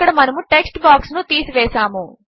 అక్కడ మనము text box ను తీసివేసాము